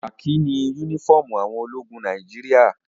Kakí ni únífọ́ọ́mù àwọn ologun Nàìjíríà.